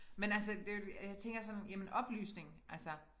Men altså det jo og jeg tænker sådan jamen oplysning altså